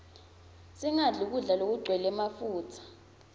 singadli kudla lokugcwele mafutsa